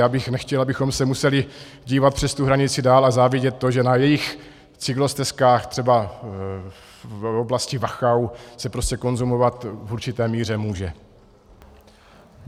Já bych nechtěl, abychom se museli dívat přes tu hranici dál a závidět to, že na jejich cyklostezkách třeba v oblasti Wachau se prostě konzumovat v určité míře může.